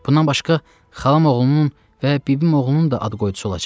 Bundan başqa xalam oğlunun və bibim oğlunun da ad qoydusu olacaq.